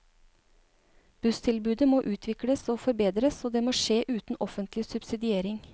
Busstilbudet må utvikles og forbedres, og det må skje uten offentlig subsidiering.